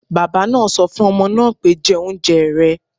Bàbá náà sọ fún ọmọ náà pé, 'jẹ oúnjẹ rẹ̀